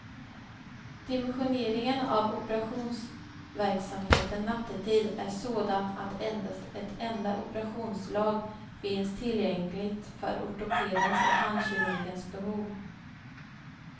Dimensioneringen av operationsverksamheten nattetid är sådan att endast ett enda operationslag finns tillgängligt för ortopedens och handkirurgens behov.